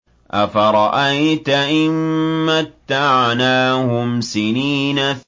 أَفَرَأَيْتَ إِن مَّتَّعْنَاهُمْ سِنِينَ